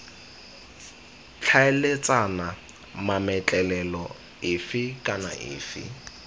tlhaeletsana mametlelelo efe kana efe